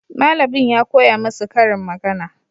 Malamin ya koya masu karin magana.